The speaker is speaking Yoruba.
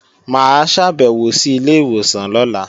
Mà á ṣàbẹ̀wò sí ilé ìwòsàn lọ́la